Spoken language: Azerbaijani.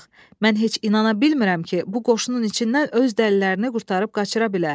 Mən heç inana bilmirəm ki, bu qoşunun içindən öz dəlilərini qurtarıb qaçıra bilə.